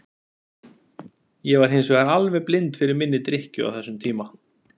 Ég var hins vegar alveg blind fyrir minni drykkju á þessum tíma.